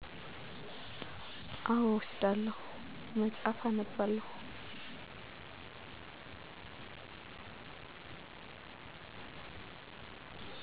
አወ እወስዳለሁ መፅሐፍ አነባለሁ